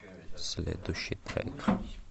следующий трек